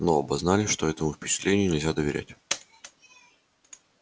но оба знали что этому впечатлению нельзя доверять